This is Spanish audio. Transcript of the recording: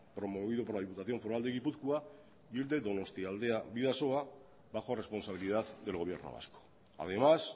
promovido por la diputación foral de gipuzkoa y el de donostialdea bidasoa bajo responsabilidad del gobierno vasco además